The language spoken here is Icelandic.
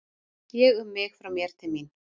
Ég um mig frá mér til mín.